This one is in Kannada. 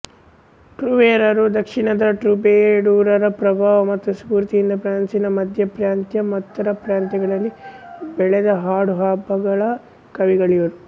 ಟ್ರೂವೇರರು ದಕ್ಷಿಣದ ಟ್ರೂಬೆಡೂರರ ಪ್ರಭಾವ ಮತ್ತು ಸ್ಫೂರ್ತಿಯಿಂದ ಫ್ರಾನ್ಸಿನ ಮಧ್ಯಪ್ರಾಂತ್ಯ ಉತ್ತರ ಪ್ರಾಂತ್ಯಗಳಲ್ಲಿ ಬೆಳೆದ ಹಾಡುಗಬ್ಬಗಳ ಕವಿಗಳಿವರು